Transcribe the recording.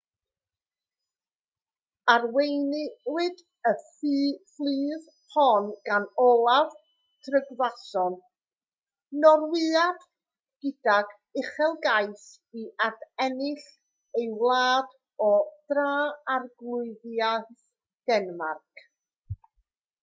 arweiniwyd y fflyd hon gan olaf trygvasson norwyad gydag uchelgais i adennill ei wlad o dra-arglwyddiaeth denmarc